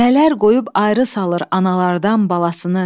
Mələr qoyub ayrı salır analardan balasını.